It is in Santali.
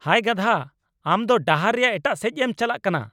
ᱦᱟᱭ, ᱜᱟᱫᱷᱟ ᱾ ᱟᱢ ᱫᱚ ᱰᱟᱦᱟᱨ ᱨᱮᱭᱟᱜ ᱮᱴᱟᱜ ᱥᱮᱡᱽᱮᱢ ᱪᱟᱞᱟᱜ ᱠᱟᱱᱟ ᱾